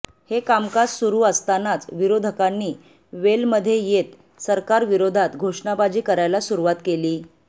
हे कामकाज सुरू असतानाच विरोधकांनी वेलमध्ये येत सरकारविरोधात घोषणाबाजी करायला सुरुवात केली